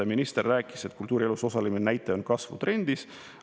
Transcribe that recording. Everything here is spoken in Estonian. Minister rääkis, et kultuurielus osalemise näitaja on kasvutrendis.